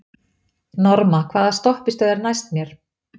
Norma, hvaða stoppistöð er næst mér?